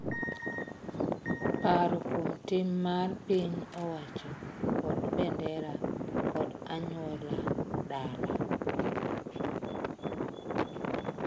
Paro kuom tim mar piny owacho kod bendera kod anyuola dala.